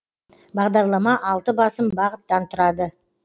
бағдарлама алты басым бағыттан тұрады